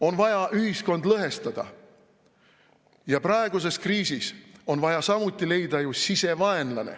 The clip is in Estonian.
On vaja ühiskonda lõhestada ja praeguses kriisis on vaja samuti leida sisevaenlane.